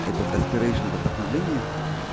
этот аспирейшн это вдохновление